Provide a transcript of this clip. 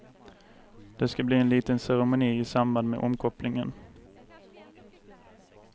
Det ska bli en liten ceremoni i samband med omkopplingen.